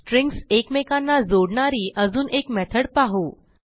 strings एकमेकांना जोडणारी अजून एक मेथड पाहू